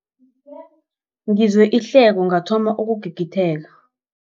Ngizwe ihleko ngathoma ukugigitheka.